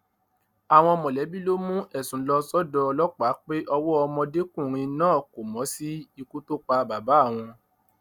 àwọn mọlẹbí ló mú ẹsùn lọ sọdọ ọlọpàá pé ọwọ ọmọdékùnrin náà kò mọ sí ikú tó pa bàbá àwọn